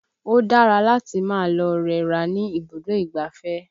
Ò dára láti máa lọ rẹra ní ibùdó ìgbáfẹ́